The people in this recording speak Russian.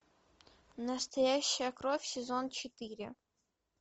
настоящая кровь сезон четыре